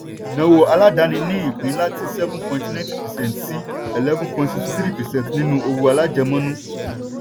ìnáwó aládàáni ní ìpín láti seven point ninety percent sí eleven point sixty three percent nínú òwò alájẹmọ́nú.